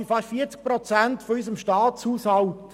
Dies sind fast 40 Prozent unseres Staatshaushaltes.